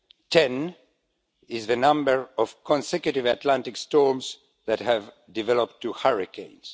Ten is the number of consecutive Atlantic storms that have developed to hurricanes